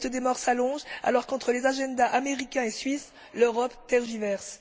La liste des morts s'allonge, alors qu'entre les agendas américain et suisse, l'Europe tergiverse.